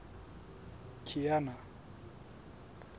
kiana